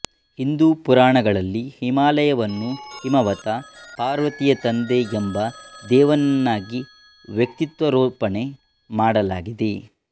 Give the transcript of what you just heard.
ಹಿಂದೂ ಪುರಾಣಗಳಲ್ಲಿ ಹಿಮಾಲಯವನ್ನು ಹಿಮವತ ಪಾರ್ವತಿಯ ತಂದೆ ಎಂಬ ದೇವನನ್ನಾಗಿ ವ್ಯಕ್ತಿತ್ವಾರೋಪಣೆ ಮಾಡಲಾಗಿದೆ